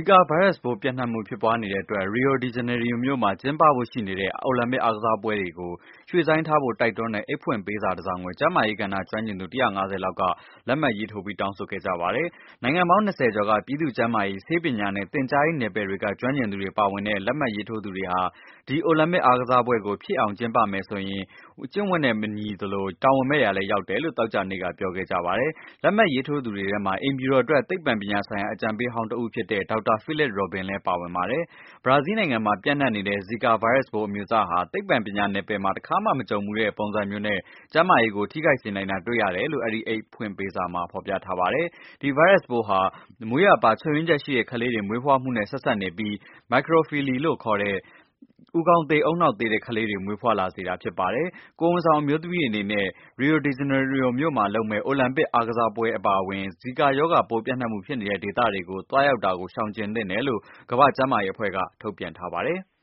ီကာ ဗိုင်းရပ်ပိုး ပျံ့နှံ့မှု ဖြစ်ပွားနေတဲ့အတွက် Rio de Janeiro မြို့မှာ ကျင်းပဖို့ ရှိနေတဲ့ အိုလံပစ်အားကစားပွဲတွေကို ရွေ့ဆိုင်းထားဖို့ တိုက်တွန်းထားတဲ့ အိတ်ဖွင့်ပေးစာတစ်စောင်ကို ကျန်းမာရေး ကဏ္ဍ ကျွမ်းကျင်သူ ၁၅၀ လောက်က လက်မှတ်ရေးထိုး တောင်းဆိုခဲ့ကြပါတယ်။ နိုင်ငံပေါင်း ၂၀ကျော်က ပြည်သူ့ကျန်းမာရေး၊ ဆေးပညာနဲ့ သင်ကြားရေး နယ်ပယ်တွေက ကျွမ်းကျင်သူတွေ ပါဝင်တဲ့ လက်မှတ်ရေးထိုးသူတွေဟာ ဒီ အိုလံပစ် အားကစားပွဲကို ဖြစ်အောင် ကျင်းပမယ်ဆိုရင် ကျင့်ဝတ်နဲ့ မညီသလို၊ တာဝန်မဲ့ရာလည်း ရောက်တယ်လို့ သောကြာနေ့က ပြောခဲ့ကြပါတယ်။ လက်မှတ်ရေးထိုးသူတွေထဲမှာ အိမ်ဖြူတော်အတွက် သိပ္ပံပညာဆိုင်ရာ အကြံပေးဟောင်း ဖြစ်တဲ့ ဒေါက်တာ Philip Rubin လဲ ပါဝင်ပါတယ်။ ဘရာဇီးမှာပျံ့နှံ့နေတဲ့ ဇီကာ ဗိုင်းရပ်စ်ပိုး အမျိုးအစားဟာ သိပ္ပံ ပညာနယ်ပယ်မှာ တစ်ခါမှ မကြုံဖူးတဲ့ ပုံစံမျိုးနဲ့ ကျန်းမာရေးကို ထိခိုက်စေနိုင်တာ တွေ့ရတယ်လို့ အဲဒီ အိတ်ဖွင့်ပေးစာမှာ ဖော်ပြထားပါတယ်။ ဒီဗိုင်းရပ်ဟာ မွေးရာပါ ချို့ယွင်းချက်ရှိတဲ့ ကလေးတွေ မွေးဖွားမှုနဲ့ ဆက်စပ်နေပြီး၊ microcephaly လို့ ခေါ်တဲ့ ဦးခေါင်းသေး ဦးနှောက်သေးတဲ့ ကလေးတွေ မွေးဖွားလာ စေပါတယ်။ ကိုယ်ဝန်ဆောင် အမျိုးသမီးတွေအနေနဲ့ Rio de Janeiro မြို့မှာ လုပ်မဲ့ အိုလံပစ် အားကစားပွဲတွေ အပါအဝင် ဇီကာ ရောဂါပိုး ပျံ့နှံ့မှု ဖြစ်နေတဲ့ ဒေသတွေကို သွားရောက်တာ ရှောင်ကြဉ်သင့်တယ် လို့ ကမ္ဘာ့ ကျန်းမာရေး အဖွဲ့က ထုတ်ပြန်ထားပါတယ်။